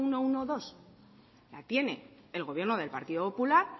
ciento doce la tiene el gobierno del partido popular